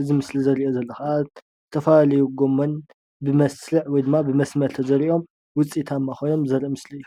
እዚ ምስሊ ዘርእዮ ዘሎ ከዓ ዝተፈላለዩ ጎሞን ብመስርዕ ወይ ድማ ብመስመር ተዘሪኦም ውፅኢታማ ኮይኖም ዘርኢ ምስሊ እዩ፡፡